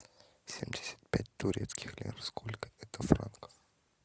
семьдесят пять турецких лир сколько это франков